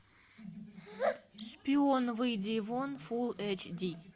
шпион выйди вон фул эйч ди